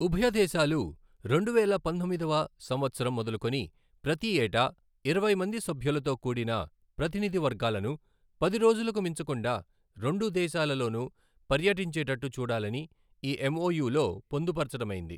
ఉభయ దేశాలూ రెండు వేల పంతొమ్మిదవ సంవత్సరం మొదలుకొని ప్రతి ఏటా ఇరవై మంది సభ్యులతో కూడిన ప్రతినిధి వర్గాలను పది రోజులకు మించకుండా రెండు దేశాలలోనూ పర్యటించేటట్టు చూడాలని ఈ ఎంఒయు లో పొందుపరచడమైంది.